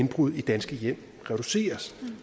indbrud i danske hjem reduceres